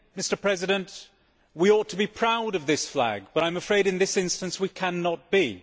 Mr President, we ought to be proud of this flag, but I am afraid that in this instance we cannot be.